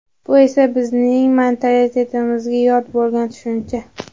Bu esa bizning mentalitetimizga yod bo‘lgan tushuncha.